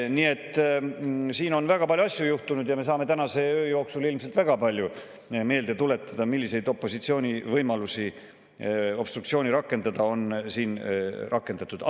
Nii et siin on väga palju asju juhtunud ja me saame tänase öö jooksul ilmselt väga palju meelde tuletada, milliseid opositsiooni võimalusi obstruktsiooni rakendada on siin rakendatud.